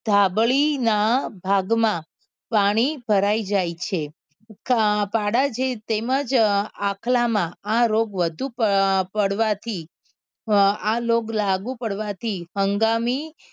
ધાબળી ના ભાગ માં પાણી ભરાઈ જાય છે પાડા જેવ તેમજ આખલા માં આ રોગ વળગુ પડવા થી અ આ રોગ લાગુ પાડવા થી હંગામી